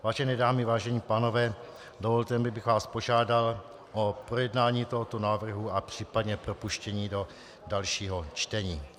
Vážené dámy, vážení pánové, dovolte mi, abych vás požádal o projednání tohoto návrhu a případně propuštění do dalšího čtení.